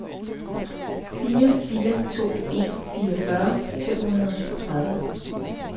fire fire to en fireogfyrre fem hundrede og syvogtredive